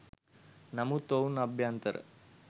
නමුත් ඔවුන් අභ්‍යන්තර